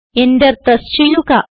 enter press ചെയ്യുക